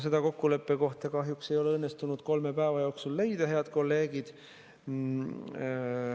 Seda kokkuleppekohta kahjuks ei ole õnnestunud kolme päeva jooksul leida, head kolleegid.